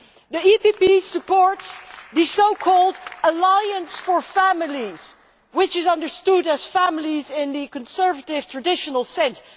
The EPP supports the so called Alliance for Families', which is understood as families in the conservative traditional sense.